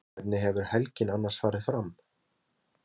Elísabet: Hvernig hefur helgin annars farið fram?